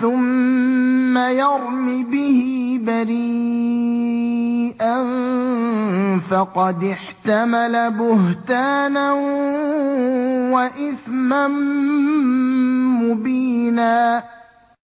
ثُمَّ يَرْمِ بِهِ بَرِيئًا فَقَدِ احْتَمَلَ بُهْتَانًا وَإِثْمًا مُّبِينًا